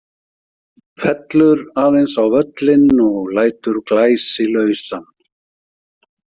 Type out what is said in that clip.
Fellur aðeins á völlinn og lætur Glæsi lausan.